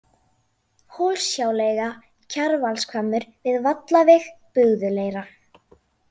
Hólshjáleiga, Kjarvalshvammur, Við Vallaveg, Bugðuleira